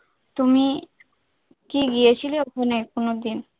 তুমি কি গিয়েছিলে ওখানে কোনদিন?